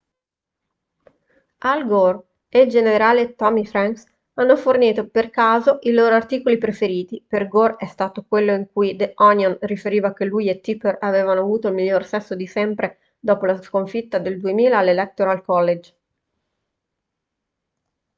al gore e il generale tommy franks hanno fornito per caso i loro articoli preferiti per gore è stato quello in cui the onion riferiva che lui e tipper avevano avuto il miglior sesso di sempre dopo la sconfitta nel 2000 all'electoral college